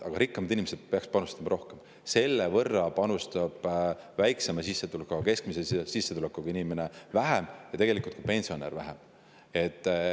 Aga rikkamad inimesed peaksid panustama rohkem, selle võrra saab väiksema sissetulekuga või keskmise sissetulekuga inimene ja tegelikult ka pensionär vähem panustada.